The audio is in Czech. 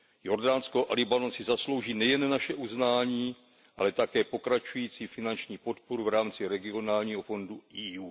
Jordánsko a Libanon si zaslouží nejen naše uznání, ale také pokračující finanční podporu v rámci regionálního fondu Evropské unie.